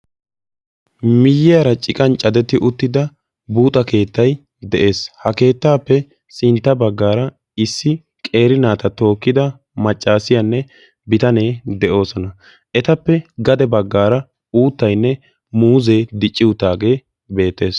Miyiyaara ciqan cadetti uttida buuza keettay de'ees. ha keettaappe sintta baggaara issi qeeri naata tookkida maccasiyaanne bitanee de'oosona. etappe gaxa baggaara uuttayinne muuzee dicci uttagee beettees.